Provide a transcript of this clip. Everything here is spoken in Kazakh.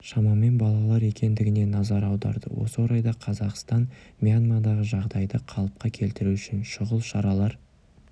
шамамен балалар екендігіне назар аударды осы орайда қазақстан мьянмадағы жағдайды қалыпқа келтіру үшін шұғыл шаралар